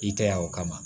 I kɛ ya o kama